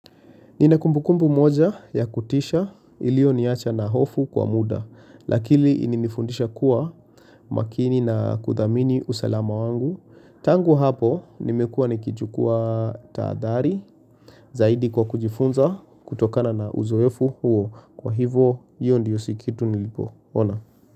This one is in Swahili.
Ninakumbukumbu moja ya kutisha iliyoniacha na hofu kwa muda, lakili inifundisha kuwa makini na kuthamini usalama wangu. Tangu hapo nimekuwa nikijukua taadhari, zaidi kwa kujifunza kutokana na uzoefu huo. Kwa hivo, hiyo ndiyo sikitu nilipo. Ona.